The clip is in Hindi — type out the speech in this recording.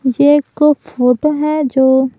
ये एक कोई फोटो है जो--